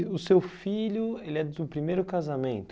E do seu filho ele é do primeiro casamento.